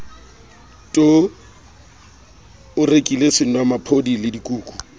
t o rekile senomaphodi ledikuku